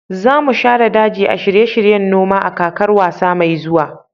za mu share daji a shirye-shiryen noma a kakar wasa mai zuwa